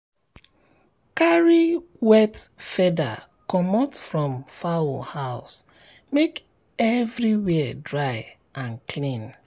carry wet feather comot from fowl house make everywhere dry and clean.